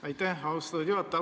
Aitäh, austatud juhataja!